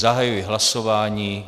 Zahajuji hlasování.